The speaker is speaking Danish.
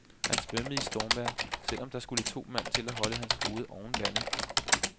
Han svømmede i stormvejr, selv om der skulle to mand til at holde hans hoved ovenvande.